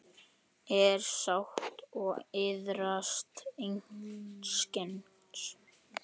er sátt og iðrast einskis